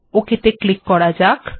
okay ত়ে click করা যাক